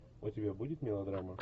у тебя будет мелодрама